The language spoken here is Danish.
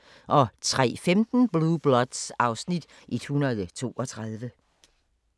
03:15: Blue Bloods (Afs. 132)